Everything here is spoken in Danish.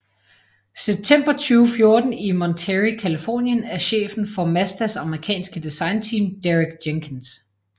September 2014 i Monterey Californien af chefen for Mazdas amerikanske designteam Derek Jenkins